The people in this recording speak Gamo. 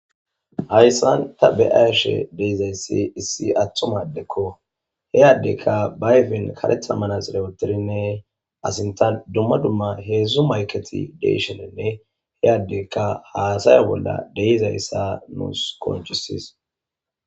Hayssan ta be'ashe de'izaysi issi attumati addeko. He addeykka ba ayfen kareththa manaxure wottidinne a sinttan dumma dumma huzzu mayketi de'ishininne he addeyka haasaya bolla de'izayssa nuus qonccises.